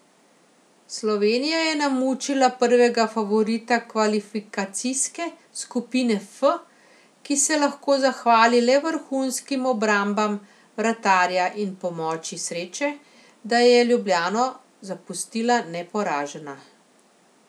Slovenija je namučila prvega favorita kvalifikacijske skupine F, ki se lahko zahvali le vrhunskim obrambam vratarja in pomoči sreče, da je Ljubljano zapustila neporažena.